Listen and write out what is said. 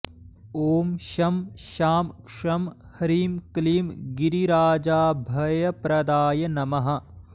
ॐ शं शां षं ह्रीं क्लीं गिरिराजाभयप्रदाय नमः